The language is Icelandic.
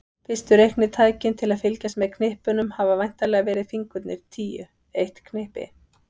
Fyrstu reiknitækin til að fylgjast með knippunum hafa væntanlega verið fingurnir tíu, eitt knippi.